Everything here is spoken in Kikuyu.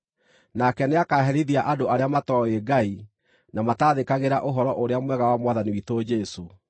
Nake nĩakaherithia andũ arĩa matooĩ Ngai na matathĩkagĩra Ũhoro-ũrĩa-Mwega wa Mwathani witũ Jesũ.